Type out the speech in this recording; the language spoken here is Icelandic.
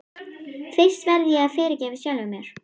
Fyrst verð ég að fyrirgefa sjálfum mér.